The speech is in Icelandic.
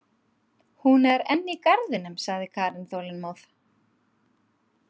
Hún er enn í garðinum, sagði Karen þolinmóð.